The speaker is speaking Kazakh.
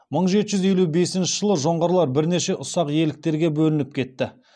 мың жеті жүз елу бесінші жылы жоңғарлар бірнеше ұсақ иеліктерге бөлініп кетті